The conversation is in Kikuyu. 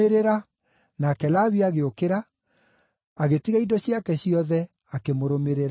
Nake Lawi agĩũkĩra, agĩtiga indo ciake ciothe, akĩmũrũmĩrĩra.